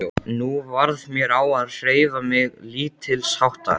Nú varð mér á að hreyfa mig lítilsháttar.